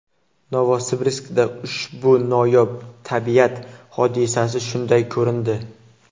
Novosibirskda ushbu noyob tabiat hodisasi shunday ko‘rindi.